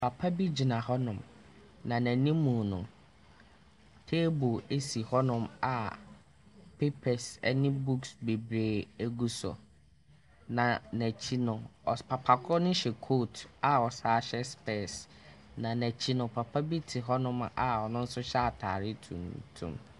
Papa bi gyina hɔnom, na n'anim no, table si hɔnom a papers ne books bebree gu so, na n'akyi no, ɔsp papa korɔ no hyɛ coat a ɔsan hyɛ specs, na n'akyi no, papa bi te hɔnom a ɔno nso hyɛ atare tuntum.